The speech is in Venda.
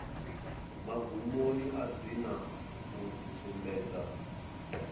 magumoni a dzina u sumbedza